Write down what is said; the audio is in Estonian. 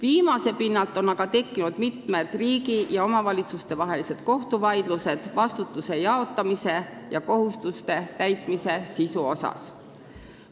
Sellelt pinnalt on aga tekkinud mitmed riigi ja omavalitsuste kohtuvaidlused vastutuse jaotamise ja kohustuste täitmise sisu üle.